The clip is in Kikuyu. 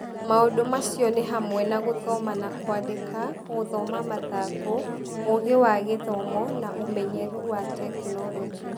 Maũndũ macio nĩ hamwe na gũthoma na kwandĩka, gũthoma mathangũ, ũgĩ wa gĩthomo, na ũmenyeru wa tekinoronjĩ.